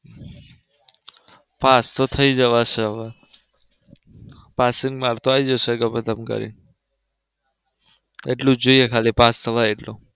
Pass તો થઈ જવાશે હવે passing marks તો આવી જશે ગમે તેમ કરીને એટલું જ જોઈએ ખાલી પાસ થવાય એટલું.